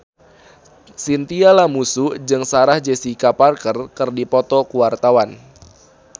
Chintya Lamusu jeung Sarah Jessica Parker keur dipoto ku wartawan